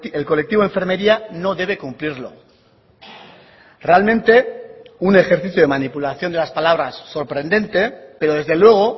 el colectivo de enfermería no debe cumplirlo realmente un ejercicio de manipulación de las palabras sorprendente pero desde luego